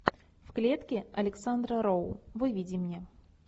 в клетке александра роу выведи мне